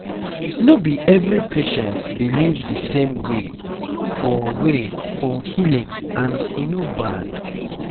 no be every patient believe the same way for way for healing and e no bad